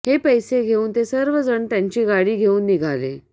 हे पैसे घेऊन ते सर्वजण त्यांची गाडी घेऊन निघाले